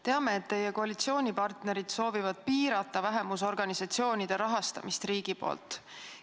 Teame, et teie koalitsioonipartnerid soovivad piirata vähemusorganisatsioonide rahastamist riigi poolt.